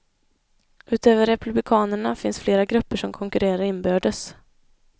Utöver republikanerna finns flera grupper som konkurrerar inbördes.